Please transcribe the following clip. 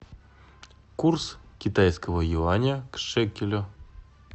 курс китайского юаня к шекелю